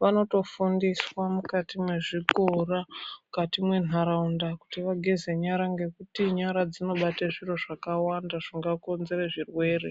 vanotofundizwa mukati mezvikora mukati mendaraunda kuti vageze nyara ngekuti nyara dzinobata zviro zvakawanda zvingakonzera zvirwere.